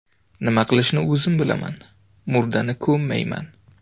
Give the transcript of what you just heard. Nima qilishni o‘zim bilaman, murdani ko‘mmayman.